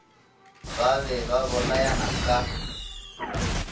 ba be ba bolayana ka